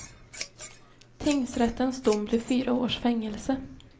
Tingsrättens dom blev fyra års fängelse.